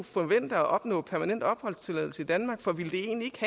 forvente at opnå permanent opholdstilladelse i danmark for ville det egentlig